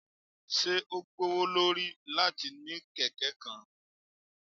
Ṣe o gbowolori lati ni keke kan?